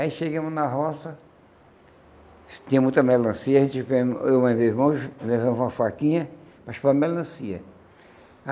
Aí chegamos na roça, tinha muita melancia, a gente vemos eu mais meu irmão levamos uma faquinha para chupar melancia.